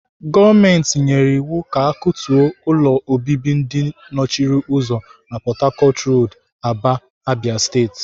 Gọọmenti nyere iwu ka akutuo ụlọ obibi ndị nọchiri ụzọ na Port-harcourt Road, Aba, Abia State.